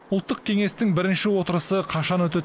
ұлттық кеңестің бірінші отырысы қашан өтеді